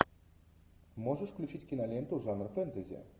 можешь включить киноленту жанр фэнтези